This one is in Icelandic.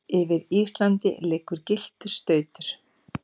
yfir Íslandi liggur gylltur stautur.